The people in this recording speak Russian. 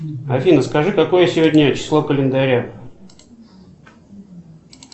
афина скажи какое сегодня число календаря